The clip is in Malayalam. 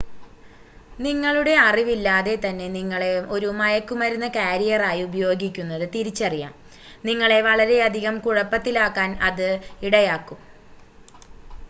നിങ്ങളുടെ അറിവില്ലാതെ തന്നെ നിങ്ങളെ ഒരു മയക്കുമരുന്ന് കാരിയറായി ഉപയോഗിക്കുന്നത് തിരിച്ചറിയാം നിങ്ങളെ വളരെയധികം കുഴപ്പത്തിലാക്കാൻ അത് ഇടയാക്കും